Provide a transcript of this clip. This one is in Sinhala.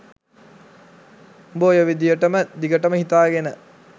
උඹ ඔය විදියටම දිගටම හිතාගෙන